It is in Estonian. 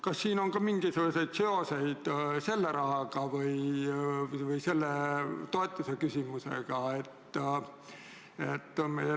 Kas siin on ka mingisuguseid seoseid selle rahaga või selle toetuse küsimusega?